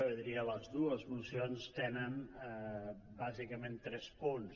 jo diria que les dues mocions tenen bàsicament tres punts